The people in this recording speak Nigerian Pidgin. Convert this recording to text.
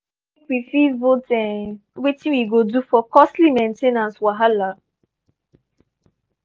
i talk say make we fit vote um wetin we go do for costly main ten ance wahala.